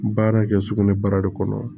Baara kɛ sugunɛ bara de kɔnɔ